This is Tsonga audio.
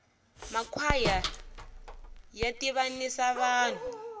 makwhaya ya tivanisa vanhu